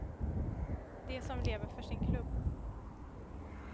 De som lever för sin klubb.